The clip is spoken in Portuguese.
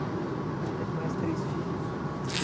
Ela teve mais três filhos?